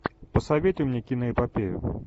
посоветуй мне киноэпопею